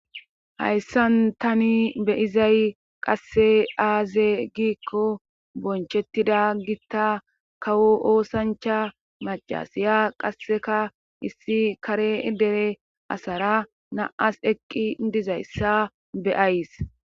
hayssan tani beyizay qasse aaze giikko bonchettida gitta kawo oosancha macasiya qasseka issi kare dere asara naas eqqi dizayssa beyays